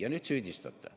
Ja nüüd süüdistate.